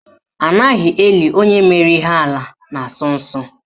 Anaghị eli onye mere ihe ala na asọ nsọ.